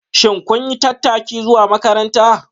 Shin kun yi tattaki zuwa makaranta?